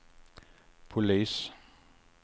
polis